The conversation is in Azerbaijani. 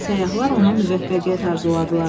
Səyyahlar ona müvəffəqiyyət arzuladılar.